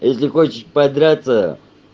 если хочешь подраться